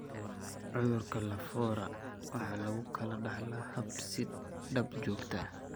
Cudurka Lafora waxa lagu kala dhaxlaa hab is-daba joog ah.